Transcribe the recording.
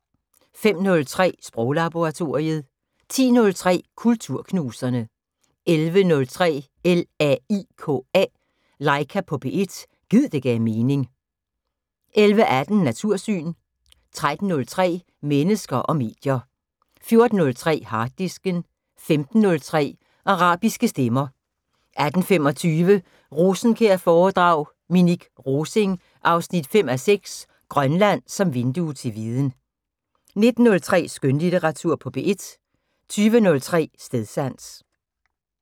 05:03: Sproglaboratoriet 10:03: Kulturknuserne 11:03: LAIKA på P1 – gid det gav mening 11:18: Natursyn 13:03: Mennesker og medier 14:03: Harddisken 15:03: Arabiske stemmer 18:25: Rosenkjær-foredrag: Minik Rosing 5:6 - Grønland som vindue til viden 19:03: Skønlitteratur på P1 20:03: Stedsans